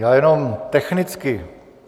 Já jenom technicky.